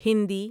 Hindi